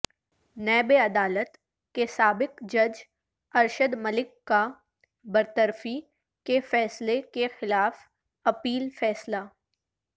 NAB عدالت کےسابق جج ارشد ملک کا برطرفی کے فیصلے کےخلاف اپیل فیصلہ